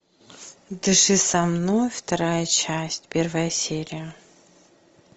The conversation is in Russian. дыши со мной вторая часть первая серия